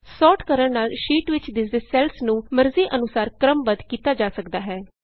sort ਕਰਣ ਨਾਲ sheet ਵਿਚ ਦਿੱਸਦੇ ਸੈੱਲਸ ਨੂੰ ਮਰਜ਼ੀ ਅਨੁਸਾਰ ਕ੍ਰਮਬੱਧ ਕੀਤਾ ਜਾ ਸਕਦਾ ਹੈ